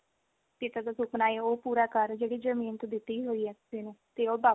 ਪਿਤਾ ਦਾ ਸੁਫਨਾ ਉਹ ਪੂਰਾ ਕਰ ਜਿਹੜੀ ਜਮੀਨ ਤੂੰ ਦਿੱਤੀ ਹੋਈ ਆ ਕਿਸੇ ਨੂੰ ਤੇ ਉਹ ਵਾਪਿਸ